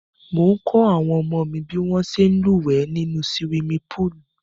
Mò ń kọ́ àwọn ọmọ mi bí wọ́n ṣe ń lúwẹ̀ẹ́ nínú siwimi póòlù